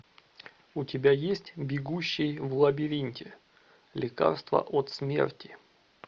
у тебя есть бегущий в лабиринте лекарство от смерти